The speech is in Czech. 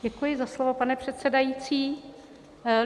Děkuji za slovo, pane předsedající.